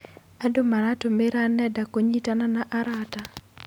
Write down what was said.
Andũ maratũmĩra nenda kũnyitana na arata.